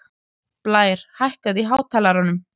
Blær, hækkaðu í hátalaranum.